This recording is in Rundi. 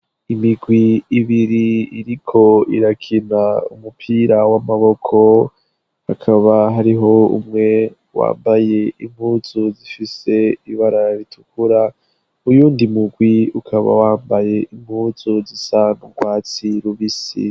Imigwi ibiri iriko irakina umupira w'amaboko hakaba hariho umwe wambaye impuzu zifise ibarara ritukura uyundi mugwi ukaba wambaye impuzu zisa n'urwatsi rubisi.